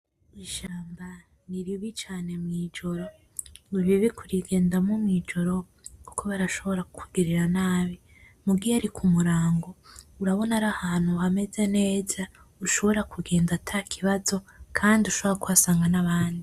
Ishamba niribi cane mwijoro niribi kurigendamwo mwijoro kuko barashobora kukugirira nabi, muga iyarikumurango urabona ko arahantu hameze neza ushobora kugenda atakibazo kandi ushobora kuhasanga nabandi.